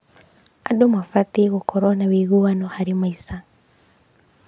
Andũ mabatiĩ gũkorwo na ũiguano harĩ maica.